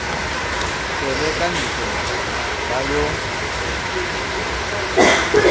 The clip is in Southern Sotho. tswele ka ntlo ba yo